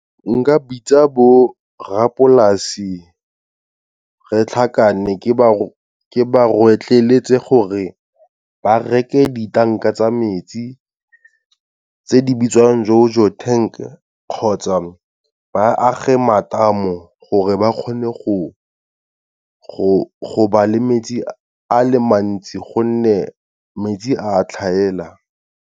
Nka bitsa borrapolase, re tlhakane ke ba rotloetse gore ba reke di-tank-a tsa metsi tse di bitswang JoJo Tank, kgotsa ba age matamo gore ba kgone go ba le metsi a le mantsi, gonne metsi a tlhaela.